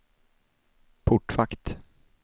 portvakt